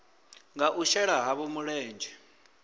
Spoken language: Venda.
nga u shela havho mulenzhe